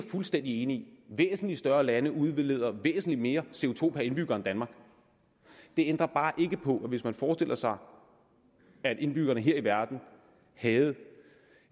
fuldstændig enig i væsentlig større lande udleder væsentlig mere co indbygger end danmark det ændrer bare ikke på at hvis man forestiller sig at indbyggerne her i verden havde